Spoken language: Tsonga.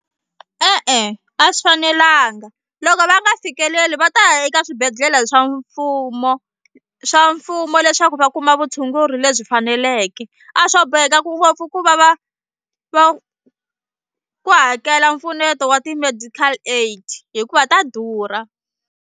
E-e a swi fanelanga loko va nga fikeleli va ta ya eka swibedhlele swa mfumo swa mfumo leswaku va kuma vutshunguri lebyi faneleke a swo boheka ku ngopfu ku va va va ku hakela mpfuneto wa ti-medical aid hikuva ta durha.